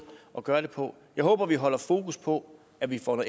at gøre det på jeg håber vi holder fokus på at vi får